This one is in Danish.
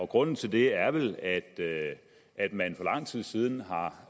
grunden til det er vel at at man for lang tid siden har